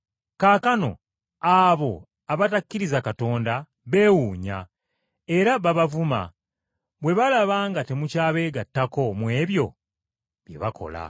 Kaakano abo abatakkiriza Katonda beewuunya era babavuma bwe balaba nga temukyabeegattako mu ebyo bye bakola.